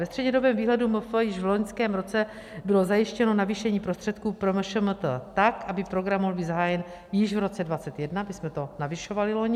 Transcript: Ve střednědobém výhledu MF již v loňském roce bylo zajištěno navýšení prostředků pro MŠMT tak, aby program mohl být zahájen již v roce 2021, my jsme to navyšovali loni.